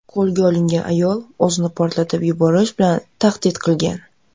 Qo‘lga olingan ayol o‘zini portlatib yuborish bilan tahdid qilgan.